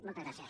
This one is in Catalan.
moltes gràcies